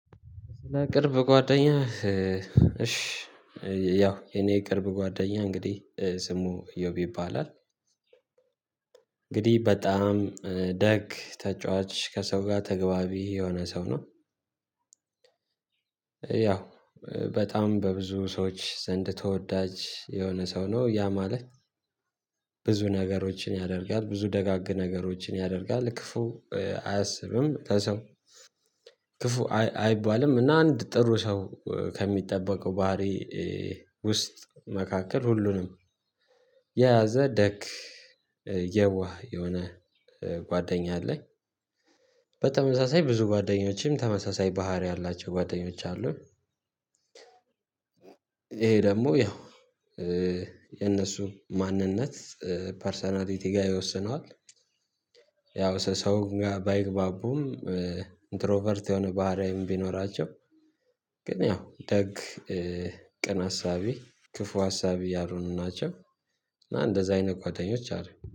ቅርብ ጓደኛ እሽ ያው የኔ ቅርብ ጓደኛ እንግዲህ ስሙ እዮብ ይባላል እንግዲህ በጣም ደግ ተጫዋች ከሰው ጋ ተግባቢ የሆነ ሰው ነው። ያው በጣም በብዙ ሰዎች ዘንድ ተወዳጅ የሆነ ሰው ነው ያ ማለት ብዙ ነገሮችን ያደርጋል ብዙ ደጋግ ነገሮችን ያደርጋል ክፉ አያሰብም ከሰው ክፉ አይባልም እና አንድ ጥሩ ሰው ከሚጠበቀው ባህሪ ውስጥ መካከል ሁሉንም የያዘ ደግ የዋህ የሆነ ጓደኛ አለኝ። በተመሳሳይ ብዙ ጓደኞችም ተመሳሳይ ባህሪ ያላቸው ጓደኞች አሉኝ ይሄ ደግሞ ያው የነሱ ማንነት ፐርሰናሊቲ ጋር ይወስነዋል። ያው ሰው ጋር ባይግባቡም ኢንትሮቨርት የሆነ ባህሪያዊም ቢኖራቸው ግን ያው ደግ ቅን አሳቢ ክፉ አሳቢ ያልሆኑ ናቸው። እና እንደዛ አይነት ጓደኞች አሉኝ